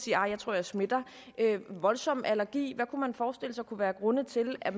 jeg tror jeg smitter eller ville voldsom allergi hvad kunne man forestille sig kunne være grunde til at